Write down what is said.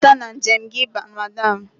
Nabata na njem gị Madam.